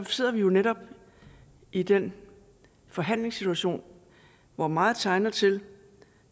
sidder vi jo netop i den forhandlingssituation hvor meget tegner til